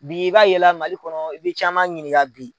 Bi i b'a ye la Mali kɔnɔ i bɛ caman ɲininka bi.